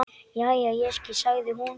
Jæja, ég skil, sagði hún.